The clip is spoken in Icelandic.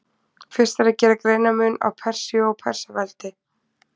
Fyrst er að gera greinarmun á Persíu og Persaveldi.